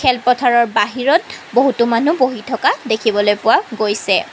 খেলপথাৰৰ বাহিৰত বহুতো মানুহ বহি থকা দেখিবলৈ পোৱা গৈছে।